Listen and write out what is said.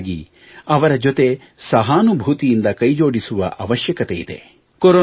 ಬದಲಾಗಿ ಅವರ ಜೊತೆ ಸಹಾನುಭೂತಿಯಿಂದ ಕೈಜೋಡಿಸುವ ಅವಶ್ಯಕತೆ ಇದೆ